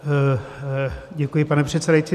Děkuji, pane předsedající.